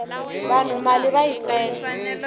vanhu mali va yi fela